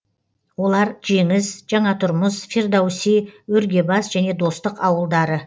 олар жеңіс жаңатұрмыс фирдоуси өргебас және достық ауылдары